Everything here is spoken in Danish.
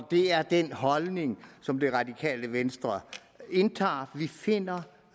det er den holdning som det radikale venstre indtager vi finder